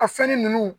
A fɛnnin ninnu